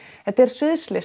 þetta er